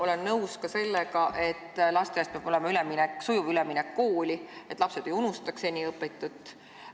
Olen nõus ka sellega, et lasteaiast peab olema sujuv üleminek kooli, et lapsed ei unustaks seni õpitut.